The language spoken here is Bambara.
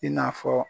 I n'a fɔ